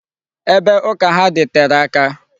Ebe ụka ha dị tere aka.